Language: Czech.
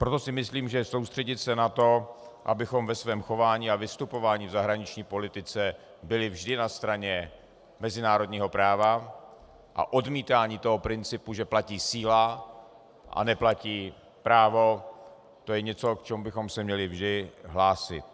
Proto si myslím, že soustředit se na to, abychom ve svém chování a vystupování v zahraniční politice byli vždy na straně mezinárodního práva a odmítání toho principu, že platí síla a neplatí právo, to je něco, k čemu bychom se měli vždy hlásit.